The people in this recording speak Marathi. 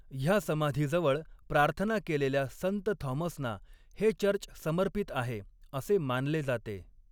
ह्या समाधीजवळ प्रार्थना केलेल्या संत थॉमसना हे चर्च समर्पित आहे, असे मानले जाते.